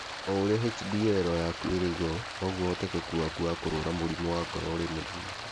O ũrĩa HDL yaku ĩrĩ na igũrũ noguo ũhotekeku waku wa kũrũara mũrimũ wa ngoro ũrĩ mũnini.